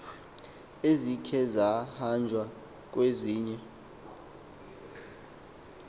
ezikhe zahanjwa kwezinye